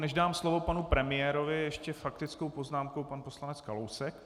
Než dám slovo panu premiérovi, ještě faktickou poznámku pan poslanec Kalousek.